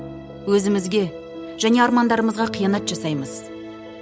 өзімізге және армандарымызға қиянат жасаймыз